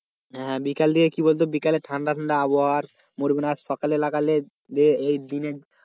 হ্যাঁ বিকাল দিকে কি বলতো বিকালে ঠান্ডা ঠান্ডা আবহাওয়া মরবেনা আর সকালে লাগালে এই দিনে,